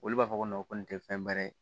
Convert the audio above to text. Olu b'a fɔ ko ko nin te fɛn wɛrɛ ye